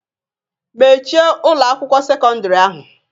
Mechie Ụlọ akwụkwọ sekọndrị ahụ!